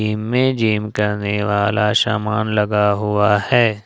इमे जिम करने वाला सामान लगा हुआ है।